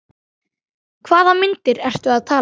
Hvaða myndir ertu að tala um?